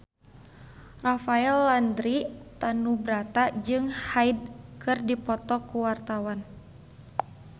Rafael Landry Tanubrata jeung Hyde keur dipoto ku wartawan